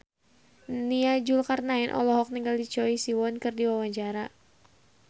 Nia Zulkarnaen olohok ningali Choi Siwon keur diwawancara